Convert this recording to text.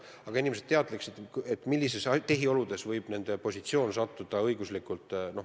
Aga inimesed peavad teadma, millisesse õiguslikku positsiooni nad võivad selle tagajärjel sattuda.